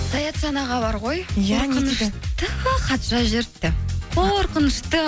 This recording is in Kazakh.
саятжан аға бар ғой хат жазып жіберіпті қорқынышты